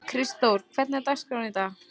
Kristdór, hvernig er dagskráin í dag?